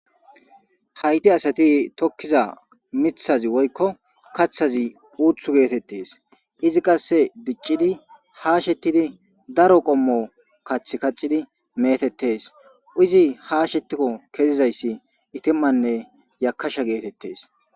hayti asati tokkiza mithazi woykko kaththazi uuth geetettes izi qasse diccidi haashettidi daro qommo kath kaccidi meetettes izi haashetikko kezizayssi itimmanne yakasha geetettes